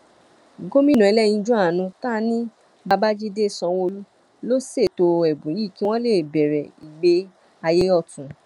gomina ẹlẹyinjú àánú tá a ní babájídé sanwóolu ló ṣètò ẹbùn yìí kí wọn lè bẹrẹ ìgbé ayé ọtún